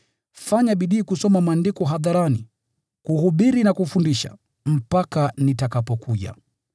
Fanya bidii kusoma Maandiko hadharani, kuhubiri na kufundisha, mpaka nitakapokuja.